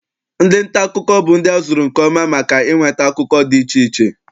Ndị nta akụkọ bụ ndị a zụrụ nke ọma maka inweta akụkọ dị iche iche.